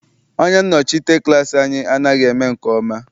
Onye nnọchite klass anyị anaghị eme nke ọma.